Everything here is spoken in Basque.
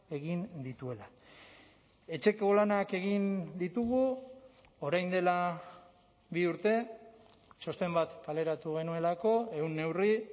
egin dituela etxeko lanak egin ditugu orain dela bi urte txosten bat kaleratu genuelako ehun neurri